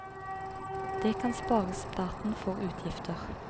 Det kan spare staten for utgifter.